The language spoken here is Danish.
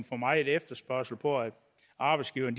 for meget efterspørgsel fra arbejdsgiverne